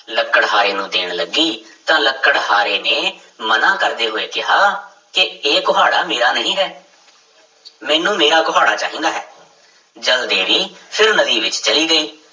ਲੱਕੜਹਾਰੇ ਨੂੰ ਦੇਣ ਲੱਗੀ ਤਾਂ ਲੱਕੜਹਾਰੇ ਨੇ ਮਨਾ ਕਰਦੇ ਹੋਏ ਕਿਹਾ ਕਿ ਇਹ ਕੁਹਾੜਾ ਮੇਰਾ ਨਹੀਂ ਹੈ ਮੈਨੂੰ ਮੇਰਾ ਕੁਹਾੜਾ ਚਾਹੀਦਾ ਹੈ, ਜਲ ਦੇਵੀ ਫਿਰ ਨਦੀ ਵਿੱਚ ਚਲੀ ਗਈ।